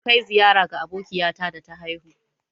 Mun kai ziƴara ga abokiƴata da ta haihu.